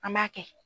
An b'a kɛ